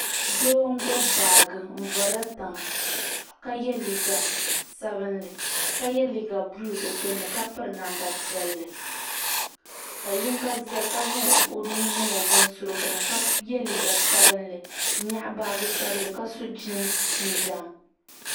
Doo n-gbibi baaji n-vuri li tiŋa ka ye liiga sabilinli ka ye liiga buluu di gbunni ka piri namda piɛlli ka yiŋga zaya ka zaŋ o nuhi niŋ o binsurigu ni ka ye liiga sabilinli n-nyaɣi baaji sabilinli ka so jiinsi jinjam.